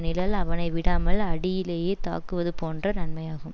நிழல் அவனை விடாமல் அடியிலேயே தக்குவது போன்ற தன்மையாகும்